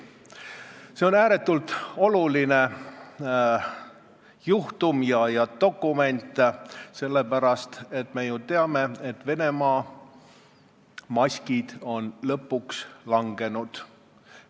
See on ääretult oluline juhtum ja dokument sellepärast, et me ju teame, et Venemaa mask on lõpuks langenud.